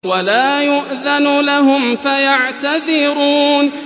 وَلَا يُؤْذَنُ لَهُمْ فَيَعْتَذِرُونَ